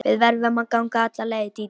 Við verðum að ganga alla leið, Dídí.